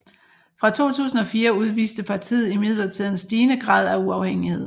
Fra 2004 udviste partiet imidlertid en stigende grad af uafhængighed